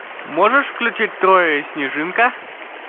можешь включить трое и снежинка